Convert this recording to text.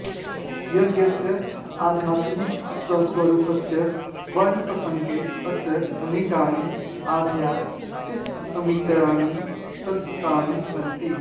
यज्ञस्य आध्यात्मिकस्वरूपस्य वर्णनप्रसङ्गे अत्र अनेकानि आध्यात्मिकसमीकरणानि प्रदत्तानि सन्ति